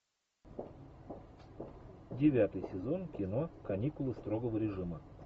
девятый сезон кино каникулы строгого режима